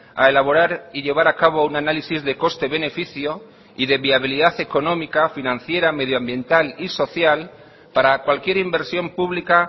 a elaborar y llevar a cabo un análisis de coste beneficio y de viabilidad económica financiera medioambiental y social para cualquier inversión pública